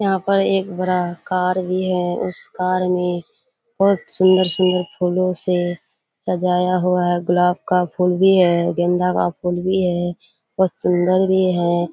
यहाँ पर एक बड़ा कार भी है उस कार में बहुत सुंदर-सुंदर फूलों से सजाया हुआ है गुलाब का फुल भी है गेंदा का फूल भी है बहुत सुंदर भी है।